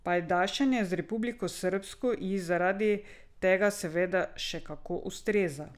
Pajdašenje z Republiko srbsko ji zaradi tega seveda še kako ustreza.